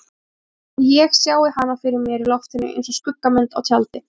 Að ég sjái hana fyrir mér í loftinu einsog skuggamynd á tjaldi.